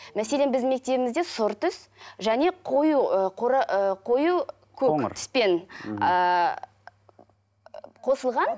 мәселен біздің мектебімізде сұры түс және қою ы ы қою көк түспен ыыы қосылған